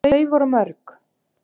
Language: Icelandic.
Voru þau mörg?